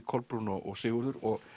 Kolbrún og Sigurður og